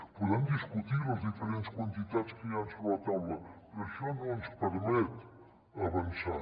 podem discutir les diferents quantitats que hi han sobre la taula però això no ens permet avançar